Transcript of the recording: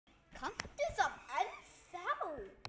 Kanntu það ennþá?